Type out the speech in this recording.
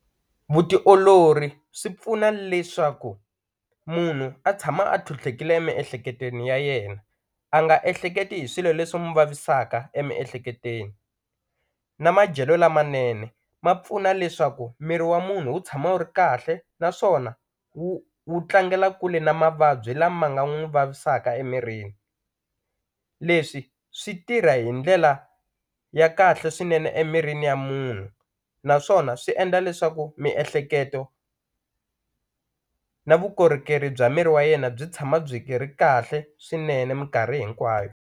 Vutiolori swi pfuna leswaku munhu a tshama a tlhutlhekile emiehleketweni ya yena a nga ehleketi hi swilo leswi mu vavisaka emiehleketweni na madyelo lamanene ma pfuna leswaku miri wa munhu wu tshama wu ri kahle naswona wu wu tlangela kule na mavabyi lama nga n'wu vavisaka emirini leswi swi tirha hi ndlela ya kahle swinene emirini ya munhu naswona swi endla leswaku miehleketo na vukorhokeri bya miri wa yena byi tshama byi ki ri kahle swinene minkarhi hinkwayo.